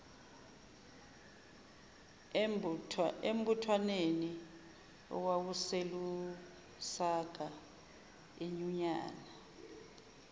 embuthwanweni owawuselusaka inyunyana